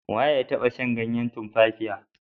We ya taba shan ganyen tumfafiya?